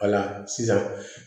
Wala sisan